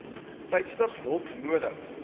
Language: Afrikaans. tydstip hulp nodig